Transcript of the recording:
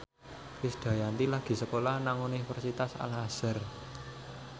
Krisdayanti lagi sekolah nang Universitas Al Azhar